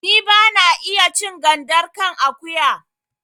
Ni ba na iya cin gandar kan akuya